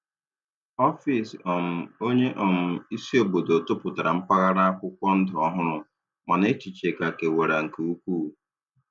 Ọfịs um onye um isi obodo tụpụtara mpaghara akwụkwọ ndụ ọhụrụ, mana echiche ka kewara nke ukwuu.